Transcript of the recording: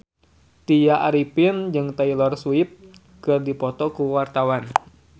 Tya Arifin jeung Taylor Swift keur dipoto ku wartawan